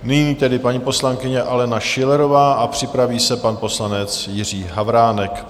Nyní tedy paní poslankyně Alena Schillerová a připraví se pan poslanec Jiří Havránek.